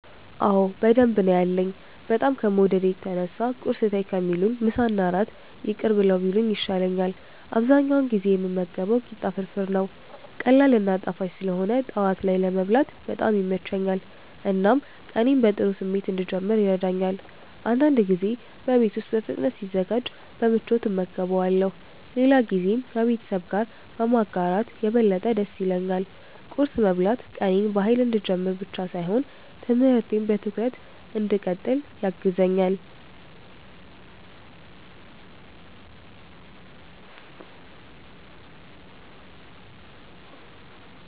አዎ በደንብ ነው ያለኝ፤ በጣም ከመውደዴ የተነሳ ቁርስ ተይ ከሚሉኝ ምሳና እራት ይቅር ብለው ቢሉኝ ይሻላል። አብዛኛውን ጊዜ የምመገበው ቂጣ ፍርፍር ነው። ቀላል እና ጣፋጭ ስለሆነ ጠዋት ላይ ለመብላት በጣም ይመቸኛል፣ እናም ቀኔን በጥሩ ስሜት እንድጀምር ይረዳኛል። አንዳንድ ጊዜ በቤት ውስጥ በፍጥነት ሲዘጋጅ በምቾት እመገበዋለሁ፣ ሌላ ጊዜም ከቤተሰብ ጋር በማጋራት የበለጠ ደስ ይለኛል። ቁርስ መብላት ቀኔን በኃይል እንድጀምር ብቻ ሳይሆን ትምህርቴን በትኩረት እንድቀጥል ያግዘኛል።